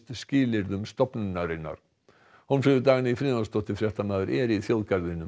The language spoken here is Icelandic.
skilyrðum stofnunarinnar Hólmfríður Dagný Friðjónsdóttir fréttamaður er í þjóðgarðinum